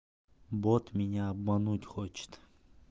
бот меня обмануть хочет